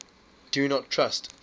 do not trust